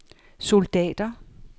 soldater